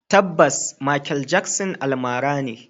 Tabbas, Makel Jaksin almara ne.